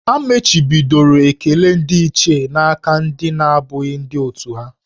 A machibidoro ekele ndị Ichie n'aka ndị na-abụghị ndị òtù ha